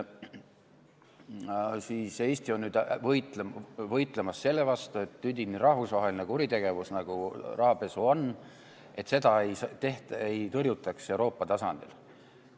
Nüüd on Eesti võitlemas selle vastu, et üdini rahvusvahelist kuritegevust, nagu rahapesu on, tõrjutaks Euroopa tasandil.